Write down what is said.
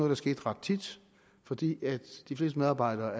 der skete ret tit fordi de fleste medarbejdere